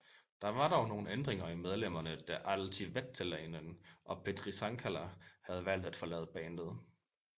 Der var dog nogen ændringer i medlemmerne da Altti Veteläinen og Petri Sankala havde valgt at forlade bandet